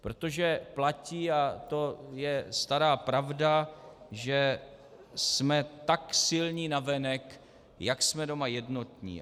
Protože platí, a to je stará pravda, že jsme tak silní navenek, jak jsme doma jednotní.